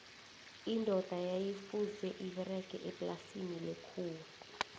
indoda yayi fuze iberge eplasini lethuwa